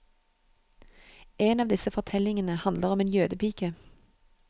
En av disse fortellingene handler om en jødepike.